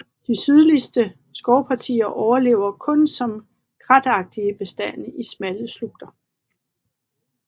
De sydligste skovpartier overlever kun som kratagtige bestande i smalle slugter